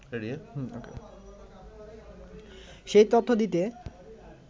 সেই তথ্য দিতে